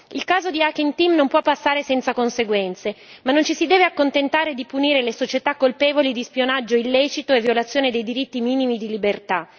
Il caso di Hacking Team non può passare senza conseguenze, ma non ci si deve accontentare di punire le società colpevoli di spionaggio illecito e violazioni dei diritti minimi di libertà.